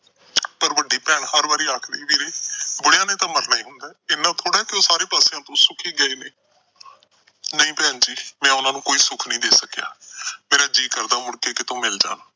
ਪਰ ਵੱਡੀ ਭੈਣ ਹਰ ਵਾਰ ਆਖਦੀ ਕਿ ਬੁਢੀਆ ਨੇ ਤਾਂ ਮਰਨਾ ਈ ਹੁੰਦਾ, ਇੰਨਾ ਘੱਟ ਏ ਕਿ ਉਹ ਹਰ ਪਾਸਿਓ ਸੁਖੀ ਗਏ ਨੇ। ਨਹੀਂ ਭੈਣ ਜੀ, ਮੈਂ ਉਹਨਾਂ ਨੂੰ ਕੋਈ ਸੁੱਖ ਨਹੀਂ ਦੇ ਸਕਿਆ। ਮੇਰਾ ਜੀਅ ਕਰਦਾ ਉਹ ਮੁੜ ਕੇ ਕਿਤੋਂ ਮਿਲ ਜਾਣ।